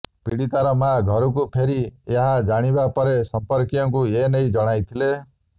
ପୀଡିତାର ମାଆ ଘରକୁ ଫେରି ଏହା ଜାଣିବା ପରେ ସମ୍ପର୍କୀୟଙ୍କୁ ଏନେଇ ଜଣାଇଥିଲେ